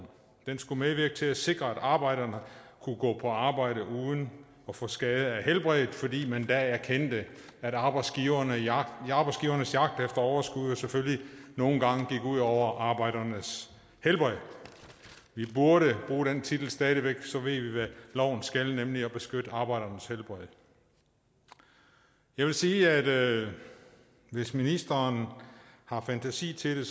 den skulle medvirke til at sikre at arbejderne kunne gå på arbejde uden at få skade på helbredet fordi man da erkendte at arbejdsgivernes jagt efter overskud selvfølgelig nogle gange gik ud over arbejdernes helbred vi burde bruge den titel stadig væk for så ved vi hvad loven skal nemlig beskytte arbejdernes helbred jeg vil sige at hvis ministeren har fantasi til det